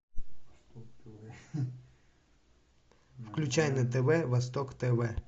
включай на тв восток тв